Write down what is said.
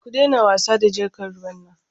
Ku daina wasa da jarkar ruwan nan.